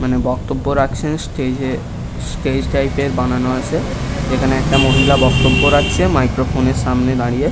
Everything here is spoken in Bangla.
মানে বক্তব্য রাখছে স্টেজ স্টেজ টাইপ -এর বানানো রয়েছে এখানে একটা মহিলা বক্তব্য রাখছে মাইক্র ফোন -এর সামনে দারিয়ে। .